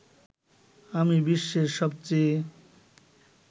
আমি বিশ্বের সবচেয়ে